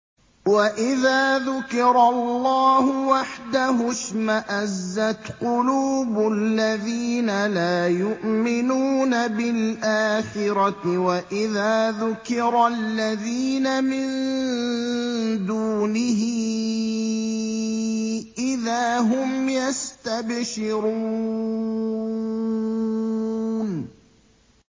وَإِذَا ذُكِرَ اللَّهُ وَحْدَهُ اشْمَأَزَّتْ قُلُوبُ الَّذِينَ لَا يُؤْمِنُونَ بِالْآخِرَةِ ۖ وَإِذَا ذُكِرَ الَّذِينَ مِن دُونِهِ إِذَا هُمْ يَسْتَبْشِرُونَ